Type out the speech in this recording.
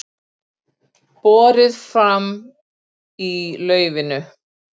Átelur vinnubrögð landsdóms